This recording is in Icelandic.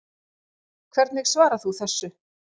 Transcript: Hvernig svarar þú þessu?